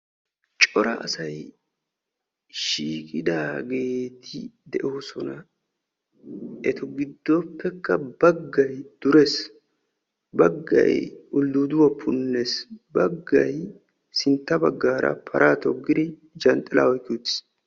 Cora asay shiiqidagetti de'osonna etta giddoppe bagay durees, bagay punneesinne bagay paraa toggiis.